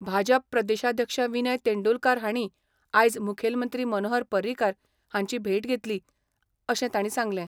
भाजप प्रदेशाध्यक्ष विनय तेंडुलकार हांणी आयज मुखेलमंत्री मनोहर पर्रीकार हांची भेट घेतली अशें तांणी सांगलें.